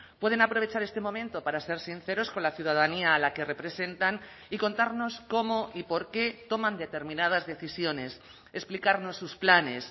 pueden aprovechar este momento para ser sinceros con la ciudadanía a la que representan y contarnos cómo y por qué toman determinadas decisiones explicarnos sus planes